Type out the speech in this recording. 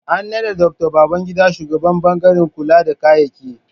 An naɗa Dr. Babangida shugaban ɓangaren kula da kayyaki